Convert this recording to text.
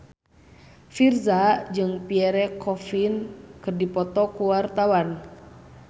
Virzha jeung Pierre Coffin keur dipoto ku wartawan